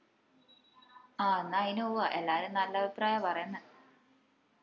ആ എന്നാ അയിന് പോവ്വാ എല്ലാരും നല്ല അഭിപ്രായ പറേന്നെ